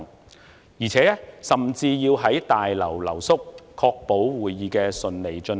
其間，我們甚至要在大樓留宿，確保會議能夠順利進行。